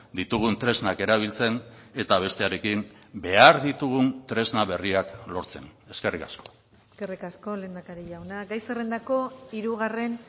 ditugun tresnak erabiltzen eta bestearekin behar ditugun tresna berriak lortzen eskerrik asko eskerrik asko lehendakari jauna gai zerrendako hirugarren